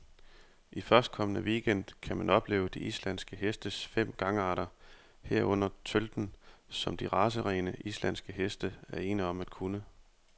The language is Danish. I førstkommende weekend gang kan man opleve de islandske hestes fem gangarter, herunder tølten, som de racerene, islandske heste er ene om at kunne.